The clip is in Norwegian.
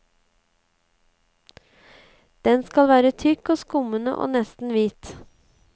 Den skal være tykk og skummende og nesten hvit.